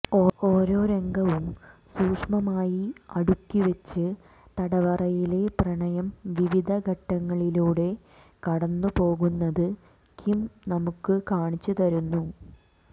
ഓരോ രംഗവും സൂക്ഷ്മമായി അടുക്കിവെച്ച് തടവറയിലെ പ്രണയം വിവിധ ഘട്ടങ്ങളിലൂടെ കടന്നുപോകുന്നത് കിം നമുക്ക് കാണിച്ചുതരുന്നു